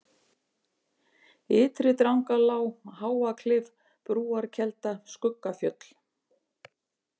Ytri-Drangalág, Háaklif, Brúarkelda, Skuggafjöll